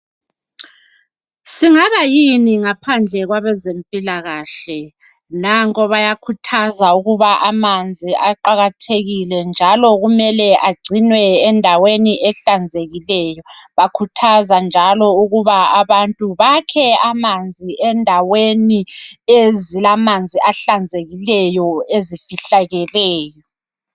Singabayini ngaphandle kwabezempilakahle. Nanko bayakhuthaza ukuba amanzi aqakathekile njalo kumele agcinwe endaweni ehlanzekileyo. Bakhuthaza njalo ukuba abantu bakhe amanzi endaweni ezilamanzi ehlanzekileyo ezifihlakeleyo.